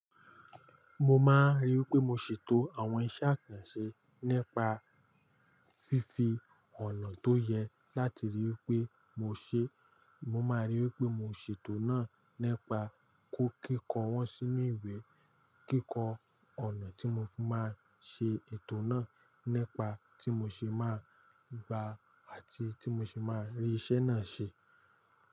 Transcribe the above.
Mo máa rí i pé mo ṣètò àwọn iṣẹ́ àkànṣe nípa fífí ọ̀nà tó yẹ láti rí i pé mo ṣe. Mo máa rí i pé mo ṣètò náà nípa kó kíkọ́ wọ́n sínú ìwé. Kíkọ́ ọ̀nà tí mo fi máa ṣe ètò náà nípa tí mo ṣe máa gba àti tí mo ṣe máa rí iṣẹ́ náà ṣe.